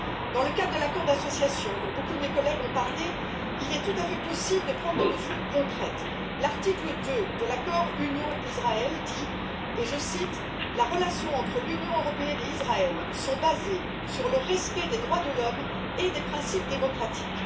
Dans le cadre de l'accord d'association, dont beaucoup de mes collègues ont parlé, il est tout à fait possible de prendre des mesures concrètes. L'article 2 de l'accord UE Israël dit je cite les relations entre l'Union européenne et Israël sont basées sur le respect des droits de l'homme et des principes démocratiques.